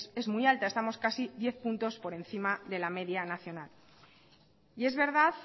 es muy alta estamos casi diez puntos por encima de la media nacional y es verdad